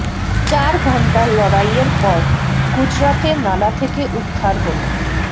চার ঘণ্টার লড়াইয়ের পর গুজরাতে নালা থেকে উদ্ধার হল